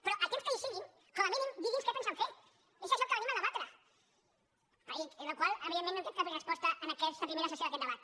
però el temps que hi siguin com a mínim digui’ns què pensen fer és això el que venim a debatre i a la qual cosa evidentment no hem tret cap resposta en aquesta primera sessió d’aquest debat